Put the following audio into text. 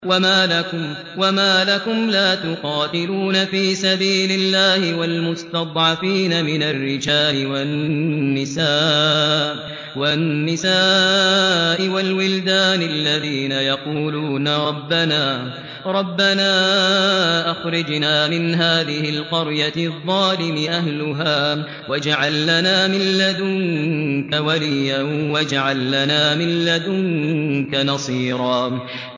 وَمَا لَكُمْ لَا تُقَاتِلُونَ فِي سَبِيلِ اللَّهِ وَالْمُسْتَضْعَفِينَ مِنَ الرِّجَالِ وَالنِّسَاءِ وَالْوِلْدَانِ الَّذِينَ يَقُولُونَ رَبَّنَا أَخْرِجْنَا مِنْ هَٰذِهِ الْقَرْيَةِ الظَّالِمِ أَهْلُهَا وَاجْعَل لَّنَا مِن لَّدُنكَ وَلِيًّا وَاجْعَل لَّنَا مِن لَّدُنكَ نَصِيرًا